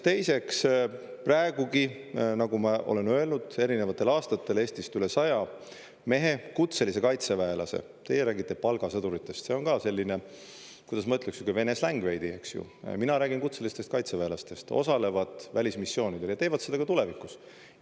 Teiseks, praegugi, nagu ma olen öelnud, erinevatel aastatel Eestist üle saja mehe, kutselise kaitseväelase – teie räägite palgasõduritest, see on selline, kuidas ma ütleks, Vene släng veidi, eks ju, mina räägin kutselistest kaitseväelastest – osalevad välismissioonidel ja teevad seda ka tulevikus.